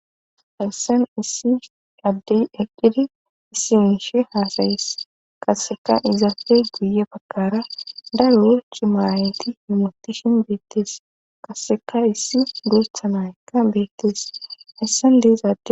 hayssan qassi addey eqqidi issi mishe haasayes qasseka izaape guye baggara daro cima aayeti hamotishin beettees qasseka issi guutha na7aykka beettees hayssan de7iza adey.